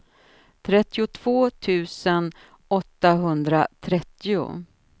trettiotvå tusen åttahundratrettio